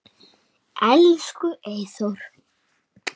Elsku Eyþór.